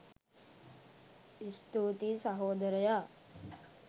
ස්තුතියි සහෝදරයා